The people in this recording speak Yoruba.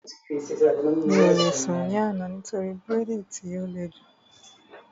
Mi ò lè sùn ní àná nítorí bírèèdì tí ó le jù